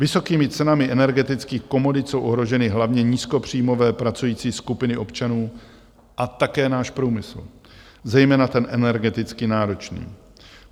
Vysokými cenami energetických komodit jsou ohroženy hlavně nízkopříjmové pracující skupiny občanů a také náš průmysl, zejména ten energeticky náročný.